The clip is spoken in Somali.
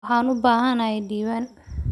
Waxaan u baahanahay diiwaan.